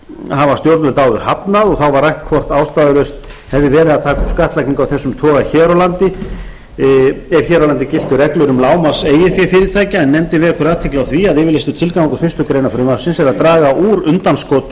hafa stjórnvöld áður hafnað þá var rætt hvort ástæðulaust hefði verið að taka upp skattlagningu af þessum toga ef hér á landi giltu reglur um lágmarks eigið fé fyrirtækja nefndin vekur athygli á því að yfirlýstur tilgangur fyrstu grein frumvarpsins er að draga úr undanskotum